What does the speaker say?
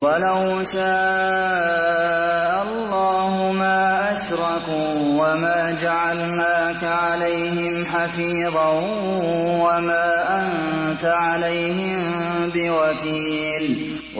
وَلَوْ شَاءَ اللَّهُ مَا أَشْرَكُوا ۗ وَمَا جَعَلْنَاكَ عَلَيْهِمْ حَفِيظًا ۖ وَمَا أَنتَ عَلَيْهِم بِوَكِيلٍ